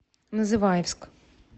называевск